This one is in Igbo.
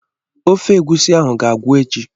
ofe egusi ahụ ga-agwụ echi.